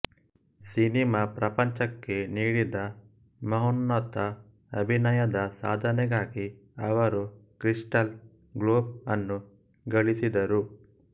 cinema ಪ್ರಪಂಚಕ್ಕೆ ನೀಡಿದ ಮಹೋನ್ನತ ಅಭಿನಯದ ಸಾಧನೆಗಾಗಿ ಅವರುಕ್ರಿಸ್ಟಲ್ ಗ್ಲೋಬ್ ಅನ್ನೂ ಗಳಿಸಿದರು